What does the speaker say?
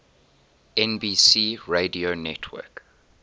nbc radio network